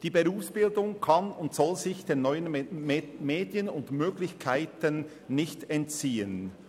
Die Berufsbildung kann und soll sich den neuen Medien und ihren Möglichkeiten nicht entziehen.